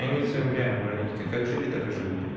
они в своём реально муравейнике как жили так и живут